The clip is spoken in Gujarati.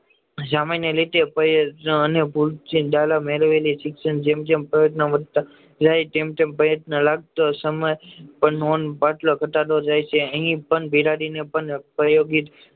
સામાન્ય રીતે કોઈ અને ભૂલ થી મેળવેલી શિક્ષણ જેમ જેમ પ્રયત્ન કરતા જાય તેમ તેમ પ્રયત્ન લગતો સમય પર નોંધ ધટાડો લે છે